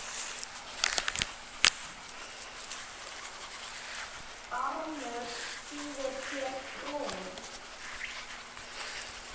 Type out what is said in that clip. Barmur þýðir hér brún.